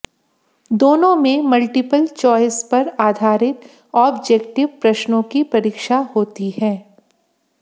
दोनों में multiple choice पर आधारित ऑब्जेक्टिव प्रश्नों की परीक्षा होती है